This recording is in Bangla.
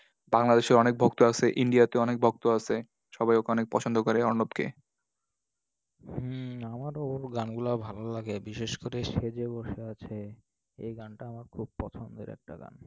বাংলাদেশে অনেক ভক্ত আছে, India তে অনেক ভক্ত আছে। সবাই ওখানে পছন্দ করে অর্ণবকে। হম আমারও ওর গানগুলা ভালো লাগে। বিশেষ করে সে যে বসে আছে, এই গানটা আমার খুব পছন্দের একটা গান।